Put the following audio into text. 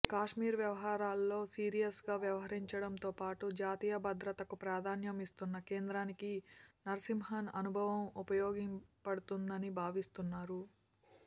కాశ్మీర్ వ్యవహారాల్లో సీరియస్గా వ్యవహరించడంతోపాటు జాతీయ భద్రతకు ప్రాధాన్యం ఇస్తున్న కేంద్రానికి నరసింహన్ అనుభవం ఉపయోగపడుతుందని భావిస్తున్నారు